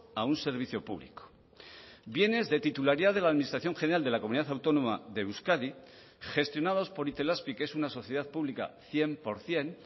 a un servicio público bienes de titularidad de la administración general de la comunidad autónoma de euskadi gestionados por itelazpi que es una sociedad pública cien por ciento